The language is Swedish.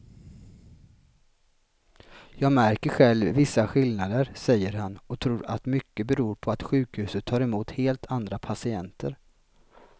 Jag märker själv vissa skillnader, säger han och tror att mycket beror på att sjukhuset tar emot helt andra patienter.